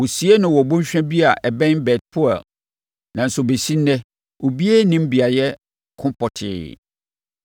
Wɔsiee no wɔ bɔnhwa bi a ɛbɛn Bet-Peor nanso ɛbɛsi ɛnnɛ, obiara nnim beaeɛ ko pɔtee.